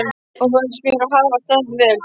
og þá fannst mér ég hafa staðið mig vel.